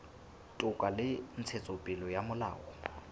toka le ntshetsopele ya molao